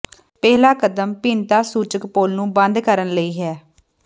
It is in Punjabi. ਪਹਿਲਾ ਕਦਮ ਭਿੰਨਤਾਸੂਚਕ ਪੁਲ ਨੂੰ ਬੰਦ ਕਰਨ ਲਈ ਹੈ